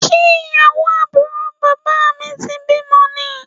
Ṣé ìyàwó àbúrò bàbá mi ti bímọ ni?